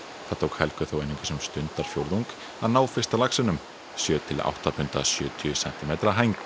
það tók Helgu þó einungis um stundarfjórðung að ná fyrsta laxinum sjö til átta punda sjötíu sentímetra hæng